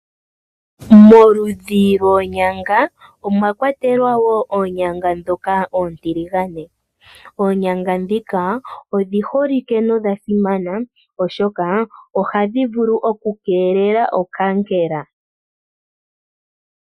Moludhi lwoonyanga omwa kwatelwa oonyanga ndhoka oontiligane. Oonyanga ndhika odhi holike nodhasimana, oshoka ohadhi keelele okaankela.